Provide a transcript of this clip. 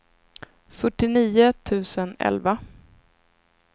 fyrtionio tusen elva